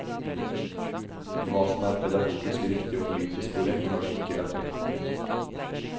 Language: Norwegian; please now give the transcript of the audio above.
Hva som er pedagogisk riktig og politisk korrekt, har de ikke lagt vekt på.